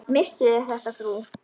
Misstuð þér þetta, frú!